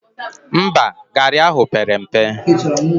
Mba, garị ahụ pere mpe